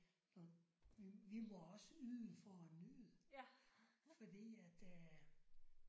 Når vi må også yde for at nyde. Fordi at øh